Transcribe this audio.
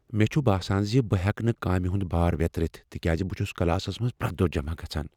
مےٚ چھ باسان زِ بہٕ ہیکہٕ نہٕ کامِہ ہُند بار ویترِتھ تکیازِ بہٕ چھُ کلاسس منٛز پرٮ۪تھ دۄہ جمع گژھان ۔